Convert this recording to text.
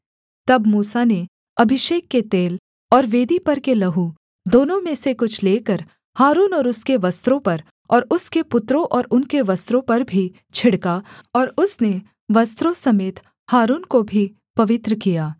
तब मूसा ने अभिषेक के तेल और वेदी पर के लहू दोनों में से कुछ लेकर हारून और उसके वस्त्रों पर और उसके पुत्रों और उनके वस्त्रों पर भी छिड़का और उसने वस्त्रों समेत हारून को भी पवित्र किया